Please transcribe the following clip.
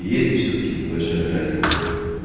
есть всё-таки небольшая разница